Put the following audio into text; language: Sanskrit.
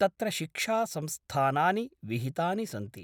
तत्र शिक्षा संस्थानानि विहितानि सन्ति।